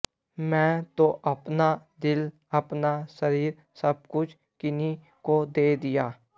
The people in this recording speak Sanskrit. मैं तो अपना दिल अपना शरीर सब कुछ किन्हीं को दे दिया